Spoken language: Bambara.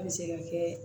An bɛ se ka kɛ